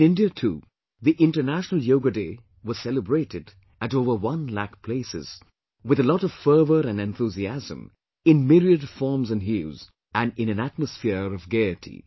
In India too, the International Yoga Day was celebrated at over 1 lakh places, with a lot of fervour and enthusiasm in myriad forms and hues, and in an atmosphere of gaiety